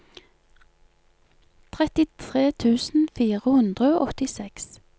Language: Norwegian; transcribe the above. trettitre tusen fire hundre og åttiseks